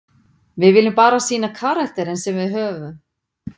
Við viljum bara sýna karakterinn sem við höfum.